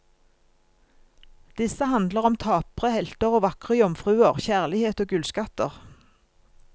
Disse handler om tapre helter og vakre jomfruer, kjærlighet, og gullskatter.